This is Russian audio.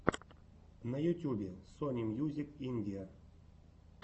на ютьюбе сони мьюзик индия